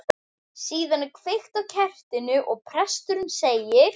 Síðan er kveikt á kertinu og presturinn segir